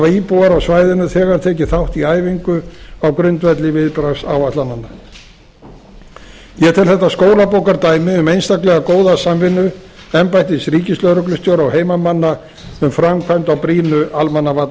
íbúar á svæðinu þegar tekið þátt í æfingu á grundvelli viðbragðsáætlananna ég tel þetta skólabókardæmi um einstaklega góða samvinnu embættis ríkislögreglustjóra og heimamanna um framkvæmd á brýnu